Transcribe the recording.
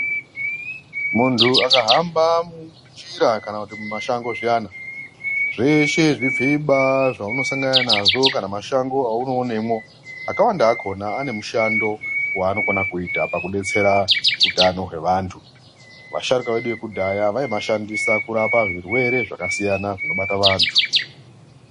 Munhu akahamba munjira kana kuti mumashango zviyani zveshe zvifiba zvaunosangana nazvo kana mashango aunoonemwo akawanda akona ane mushando waanokona kuita paku detsera utano hwevantu vasharuka vedu vekudhaya vaimashandisa kurapwa zvirwere zvakasiyana zvinobata vantu.